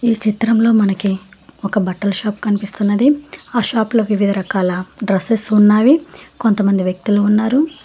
ఈ చిత్రంలో మనకి ఒక బట్టల షాప్ కనిపిస్తున్నది ఆ షాప్ లోకి వివిధ రకాల డ్రెస్సెస్ ఉన్నావి కొంతమంది వ్యక్తులు ఉన్నారు.